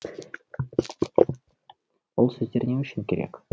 ол сөздер не үшін керек